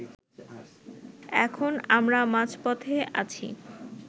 এখন আমরা মাঝপথে আছি